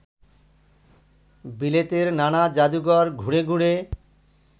বিলেতের নানা জাদুঘর ঘুরে ঘুরে